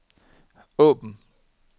åbn